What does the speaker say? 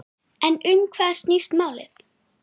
En um hvað snýst málið?